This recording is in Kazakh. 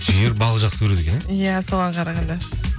жігер балық жақсы көреді екен иә иә соған қарағанда